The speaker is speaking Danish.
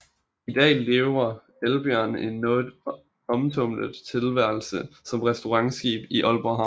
I dag lever Elbjørn en noget omtumlet tilværelse som restaurantskib i Aalborg Havn